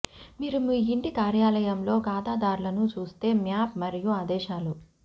మీరు మీ ఇంటి కార్యాలయంలో ఖాతాదారులను చూస్తే మ్యాప్ మరియు ఆదేశాలు